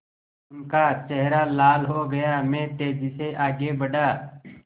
उनका चेहरा लाल हो गया मैं तेज़ी से आगे बढ़ा